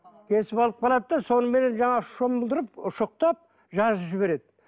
кесіп алып қалады да соныменен жаңағы шомылдырып ұшықтап жазып жібереді